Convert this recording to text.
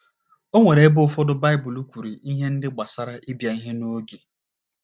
O nwere ebe ụfọdụ Baịbụl kwuru ihe ndị gbasara ịbịa ihe n’oge.